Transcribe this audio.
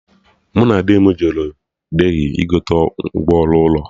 Mụ na di m jere Delhi igote ngwa ọrụ ụlọ